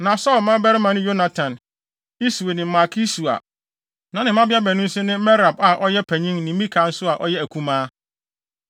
Na Saulo mmabarima ne Yonatan, Iswi ne Malki-Sua na ne mmabea baanu nso ne Merab a ɔyɛ panyin ne Mikal nso a ɔyɛ akumaa.